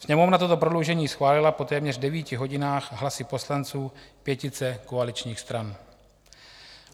Sněmovna toto prodloužení schválila po téměř devíti hodinách hlasy poslanců pětice koaličních stran.